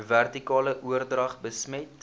vertikale oordrag besmet